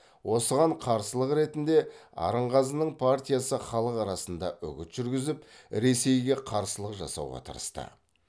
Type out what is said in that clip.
осыған қарсылық ретінде арынғазының партиясы халық арасында үгіт жүргізіп ресейге қарсылық жасауға тырысты